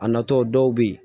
A natɔ dɔw bɛ yen